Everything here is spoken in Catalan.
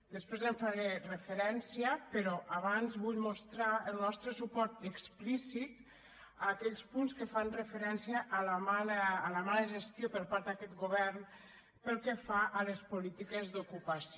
després hi faré referència però abans vull mostrar el nostre suport explícit a aquells punts que fan referència a la mala gestió per part d’aquest govern pel que fa a les políti·ques d’ocupació